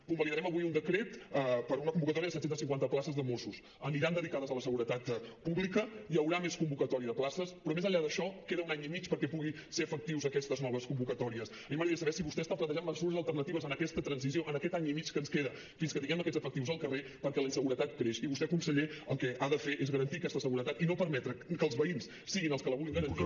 convalidarem avui un decret per una convocatòria de set cents i cinquanta places de mossos aniran dedicades a la seguretat pública hi haurà més convocatòria de places però més enllà d’això queda un any i mig perquè puguin ser efectives aquestes noves convocatòries a mi m’agradaria saber si vostè està plantejant mesures alternatives en aquesta transició en aquest any i mig que ens queda fins que tinguem aquests efectius al carrer perquè la inseguretat creix i vostè conseller el que ha de fer és garantir aquesta seguretat i no permetre que els veïns siguin els que la vulguin garantir